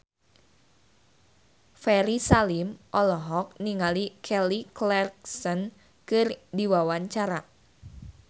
Ferry Salim olohok ningali Kelly Clarkson keur diwawancara